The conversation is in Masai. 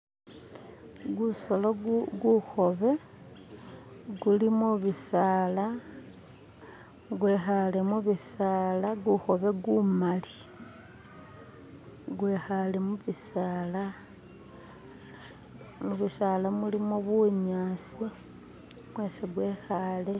Gusolo gukhobe guli mubisala gwikale mubisala gukobe gumali gwi'kale mubisala. Mubisala mulimo bunyasi mwesi gwikaale